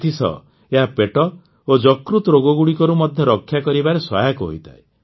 ଏଥିସହ ଏହା ପେଟ ଓ ଯକୃତ୍ ରୋଗଗୁଡ଼ିକରୁ ମଧ୍ୟ ରକ୍ଷା କରିବାରେ ସହାୟକ ହୋଇଥାଏ